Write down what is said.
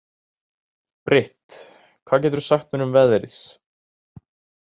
Britt, hvað geturðu sagt mér um veðrið?